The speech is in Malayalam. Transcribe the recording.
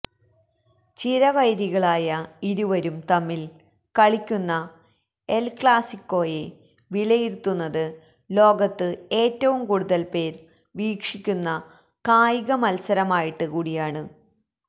ചിരവൈരികളായ ഇരുവരും തമ്മില് കളിക്കുന്ന എല് ക്ലാസ്സിക്കോയെ വിലയിരുത്തുന്നത് ലോകത്ത് ഏറ്റവും കൂടുതല്പേര് വീക്ഷിക്കുന്ന കായിക മൽസരമായിട്ട് കൂടിയാണ്